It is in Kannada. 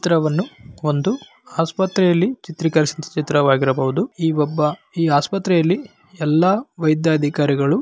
ಚಿತ್ರವನ್ನು ಒಂದು ಆಸ್ಪತ್ರೆಯಲ್ಲಿ ಚಿತ್ರಿಕರಿಸದ ಚಿತ್ರವಾಗಿರಬಹುದು ಈ ಒಬ್ಬ ಈ ಆಸ್ಪತ್ರೆಯಲ್ಲಿ ಎಲ್ಲಾ ವೈದ್ಯಾಧಿಕಾರಿಗಳು--